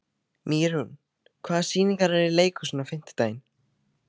Mýrún, hvaða sýningar eru í leikhúsinu á fimmtudaginn?